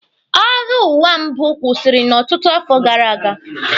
Agha ụwa mbụ kwụsịrị n'ọtụtụ afọ gara aga.